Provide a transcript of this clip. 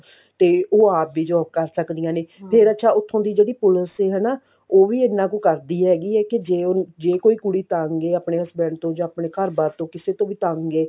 ਤੇ ਉਹ ਆਪ ਹੀ job ਕਰ ਸਕਦੀਆਂ ਨੇ ਫ਼ੇਰ ਅੱਛਾ ਉਥੋਂ ਦੀ ਜਿਹੜੀ ਪੁਲਸ ਹੈ ਉਹ ਵੀ ਇੰਨਾ ਕੁ ਕਰਦੀ ਹੈ ਹੈਗੀ ਹੈ ਕੀ ਜੇ ਉਹ ਜੇ ਕੋਈ ਕੁੜੀ ਆਪਣੇ husband ਤੋਂ ਜਾਂ ਆਪਣੇ ਘਰ ਬਾਰ ਤੋਂ ਕਿਸੇ ਤੋਂ ਵੀ ਤੰਗ ਹੈ